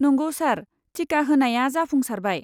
नंगौ सार, टिका होनाया जाफुंसारबाय।